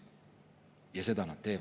Seda teeb.